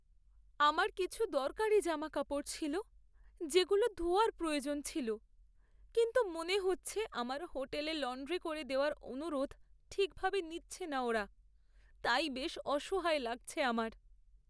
আমার কিছু দরকারি জামাকাপড় ছিল যেগুলো ধোয়ার প্রয়োজন ছিল, কিন্তু মনে হচ্ছে আমার হোটেলে লন্ড্রি করে দেওয়ার অনুরোধ ঠিকভাবে নিচ্ছে না ওরা, তাই বেশ অসহায় লাগছে আমার।